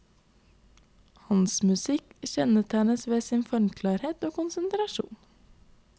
Hans musikk kjennetegnes ved sin formklarhet og konsentrasjon.